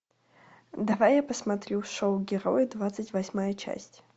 давай я посмотрю шоу герои двадцать восьмая часть